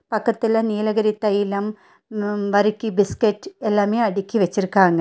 பக்கத்துல நீலகிரி தைலம் ம் வரிக்கி பிஸ்கெட் எல்லாமே அடுக்கி வச்சிருக்காங்க.